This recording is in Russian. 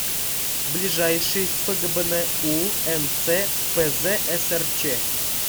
ближайший фгбну нц пзсрч